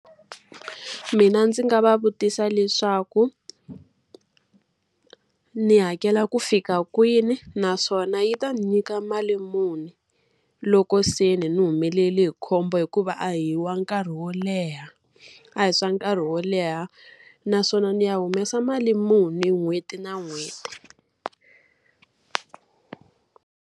Mina ndzi nga va vutisa leswaku ni hakela ku fika kwini? Naswona yi ta nyika mali muni, loko se ni ni humelele hi khombo hikuva a hi wa nkarhi wo leha, a hi swa nkarhi wo leha? Naswona ni ya humesa mali muni n'hweti na n'hweti?